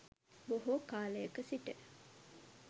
බොහෝ කාලයක සිට